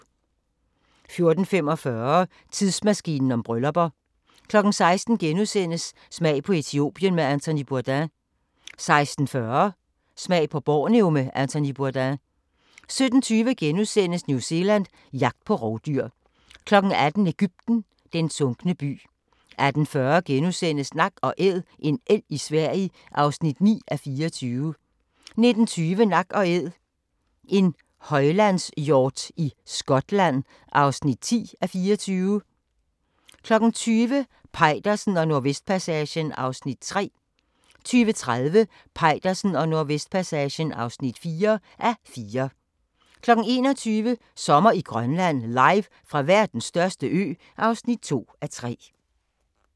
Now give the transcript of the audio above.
14:45: Tidsmaskinen om bryllupper 16:00: Smag på Etiopien med Anthony Bourdain * 16:40: Smag på Borneo med Anthony Bourdain 17:20: New Zealand – jagt på rovdyr * 18:00: Egypten – den sunkne by 18:40: Nak & Æd - en elg i Sverige (9:24)* 19:20: Nak & Æd – en højlandshjort i Skotland (10:24) 20:00: Peitersen og Nordvestpassagen (3:4) 20:30: Peitersen og Nordvestpassagen (4:4) 21:00: Sommer i Grønland – Live fra verdens største ø (2:3)